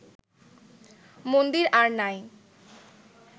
মন্দির আর নাই